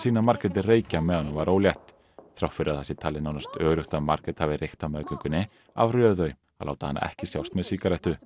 sýna Margréti reykja meðan hún var ólétt þrátt fyrir að það sé talið nánast öruggt að Margrét hafi reykt á meðgöngunni afréðu þau að láta hana ekki sjást með sígarettu